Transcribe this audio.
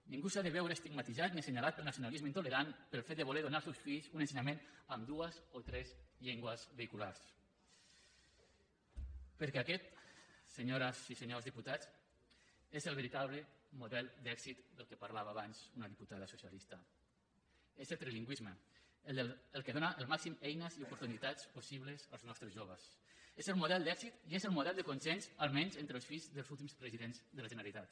ningú s’ha de veure estigmatitzat ni assenyalat pel nacionalisme intolerant pel fet de voler donar als seus fills un ensenyament amb dues o tres llengües vehiculars perquè aquest senyores i senyors diputats és el veritable model d’èxit del qual parlava abans una diputada socialista és el trilingüisme el que dóna màximes eines i oportunitats possibles als nostres joves és el model d’èxit i és el model de consens almenys entre els fills dels últims presidents de la generalitat